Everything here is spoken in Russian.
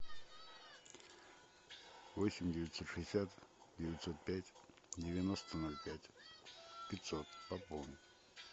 восемь девятьсот шестьдесят девятьсот пять девяносто ноль пять пятьсот пополнить